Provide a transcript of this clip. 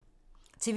TV 2